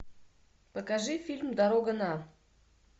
покажи фильм дорога на